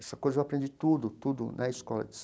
Essa coisa eu aprendi tudo tudo na escola